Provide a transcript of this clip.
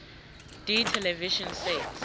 d television sets